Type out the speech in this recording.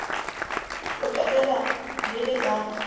ho qetela le le ka